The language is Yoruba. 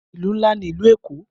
Ìlú ńlá ní ìlú Èkó.